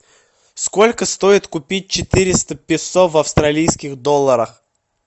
сколько стоит купить четыреста песо в австралийских долларах